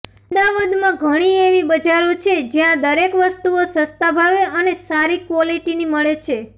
અમદાવદમાં ઘણી એવી બજારો છે જ્યા દરેક વસ્તુઓ સસ્તા ભાવે અને સારી ક્વોલીટીની મળે છે